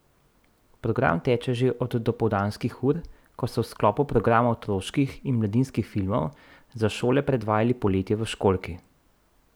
Program teče že od dopoldanskih ur, ko so v sklopu programa otroških in mladinskih filmov za šole predvajali Poletje v školjki.